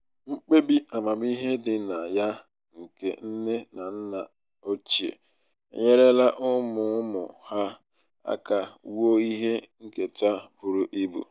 mkpebi amamihe dị na ya nke nne na nna ochie enyerela ụmụ ụmụ ha aka wuo ihe nketa buru ibu.